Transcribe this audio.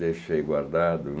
Deixei guardado.